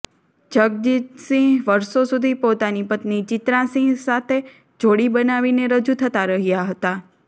જગજીતસિંહ વર્ષો સુધી પોતાની પત્ની ચિત્રાસિંહ સાથે જોડી બનાવીને રજૂ થતા રહ્યા હતા